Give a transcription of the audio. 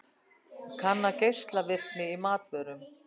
Kanna geislavirkni í matvörum